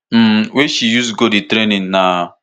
um wey she use go di training na